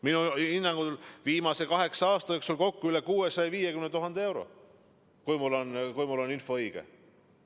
Minu hinnangul on ta viimase kaheksa aasta jooksul kokku annetanud üle 650 000 euro, kui mu info õige on.